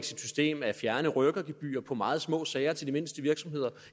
sit system at fjerne rykkergebyrer på meget små sager til de mindste virksomheder